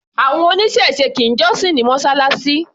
Àwọn oníṣẹ̀se kì í jọ́sìn ní Mọ́ṣáláṣí.